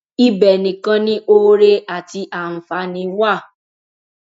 ibẹ nìkan ni oore àti àǹfààní wà